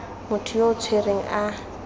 motho yo o tshwerweng a